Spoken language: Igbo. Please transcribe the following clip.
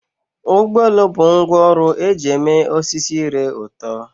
Ụgbọ elu bụ ngwá ọrụ eji eme osisi ire ụtọ.